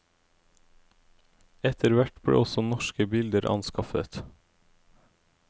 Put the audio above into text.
Etterhvert ble også norske bilder anskaffet.